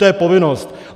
To je povinnost.